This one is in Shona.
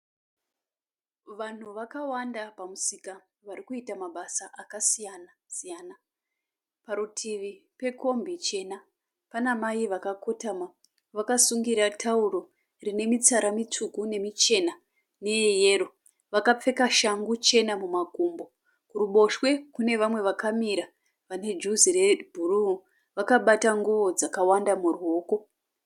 Vanhu vakawanda pamusika varikuita mabasa akasiyana siyana. Parutivi pekombi chena pana mai vakakotama vakasungira tauro rine mitsara mitsvuku nemichena neyeyero. Vakapfeka shangu chena mumakumbo. Kuruboshwe kune vamwe vakamira vane juzi rebhuruu vakabata nguwo dzakawanda muruoko.